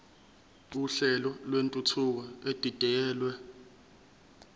uhlelo lwentuthuko edidiyelwe